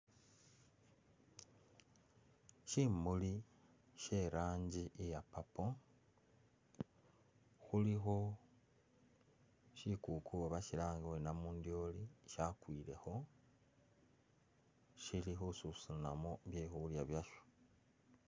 Shimuli, she rangi iya purple, khulikho shikuku bashilanga bari namundyooli shakwilekho shili khususunamo byekhulya basho